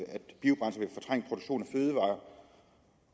fødevarer